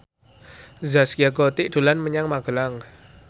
Zaskia Gotik dolan menyang Magelang